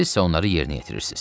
Sizsə onları yerinə yetirirsiz.